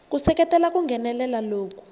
ku seketela ku nghenelela loku